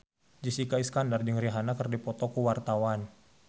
Jessica Iskandar jeung Rihanna keur dipoto ku wartawan